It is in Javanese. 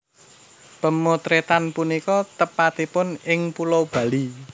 Pemotretan punika tepatipun ing Pulau Bali